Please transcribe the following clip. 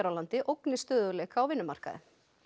landi ógni stöðugleika á vinnumarkaði